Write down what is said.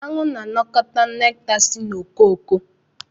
Aṅụ na-anakọta nekta si ifuru.